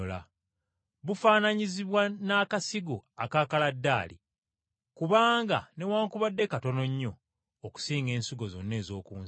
Bufaananyizibwa n’akasigo aka kaladaali! Kubanga newaakubadde katono nnyo okusinga ensigo zonna ez’oku nsi,